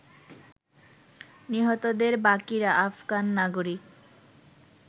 নিহতদের বাকিরা আফগান নাগরিক।